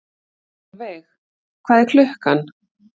Solveig, hvað er klukkan?